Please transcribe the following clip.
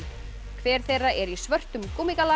hver þeirra er í svörum